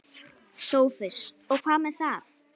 SOPHUS: Og hvað með það?